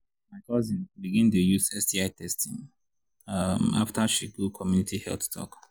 my cousin begin dey use sti testing um after she go community health talk.